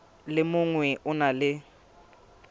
le mongwe o na le